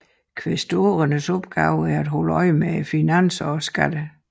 Kvæstorernes opgave var at holde øje med finanserne og skatterne